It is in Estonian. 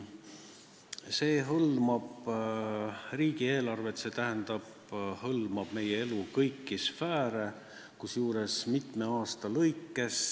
See hõlmab riigieelarvet, st meie elu kõiki sfääre, kusjuures mitme aasta jooksul.